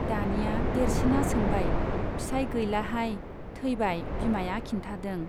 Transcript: दानिया देरसिना सोंबाय फिसाइ गैलाहाय , थैबाय बिमाया खिन्थादों।